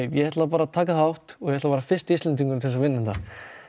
ég ætla bara að taka þátt og vera fyrsti Íslendingurinn til að vinna þetta